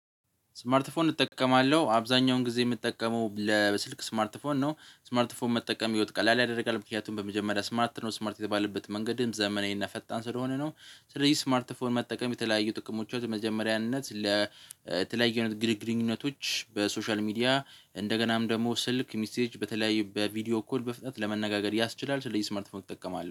ስማርት ፎን እጠቀማለሁ አብዛኛውን ጊዜ የምጠቀመው ለስልክ ስማርት ፎን ነው። ስማርት መጠቀም ህይወት ቀላል ያደርጋል። ምክንያቱም በመጀመሪያ ስማርት ነው ስማርት የተባለበት መንገድም ዘመናዊና ፈጣን ስለሆነ ነው ስለዚህ ስማርት ፎን መጠቀም የተለያዩ ጥቅሞች በመጀመሪያነት ለተለያዩ ግድግንኘነቶች በሶሻል ሚዲያ እንደገናም ደግሞ ስልክ ሚሴጅ በተለያዩ በቪዲዮ ኮል በፍጥነት ለመነጋገር ያስችላል ስለዚህ ስምርት ፎርም እጠቀማለው።